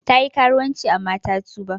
Ta yi karuwanci amma ta tuba.